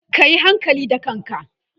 kayi hankali da ƙafanka!